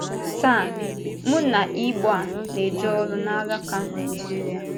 Tàa, mụ na Ígbòà na-eje ọrụ n’álàkà Nàịjíríà.